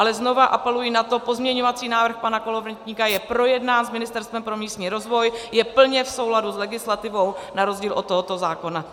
Ale znovu apeluji na to, pozměňovací návrh pana Kolovratníka je projednán s Ministerstvem pro místní rozvoj, je plně v souladu s legislativou, na rozdíl od tohoto zákona.